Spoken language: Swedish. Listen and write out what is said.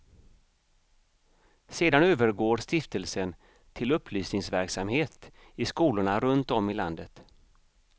Sedan övergår stiftelsen till upplysningsverksamhet i skolorna runt om i landet.